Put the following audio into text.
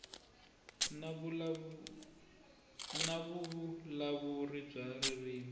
na vuvulavuri bya ririmi ro